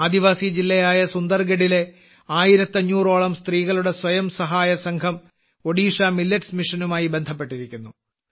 ആദിവാസി ജില്ലയായ സുന്ദർഗഡിലെ ആയിരത്തി അഞ്ഞൂറോളം സ്ത്രീകളുടെ സ്വയംസഹായസംഘം ഒഡീഷ മില്ലറ്റ്സ് മിഷനുമായി ബന്ധപ്പെട്ടിരിക്കുന്നു